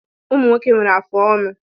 Ụmụ nwoke nwere afụ ọnụ